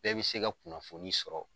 Bɛɛ bi se ka kunnafoni sɔrɔ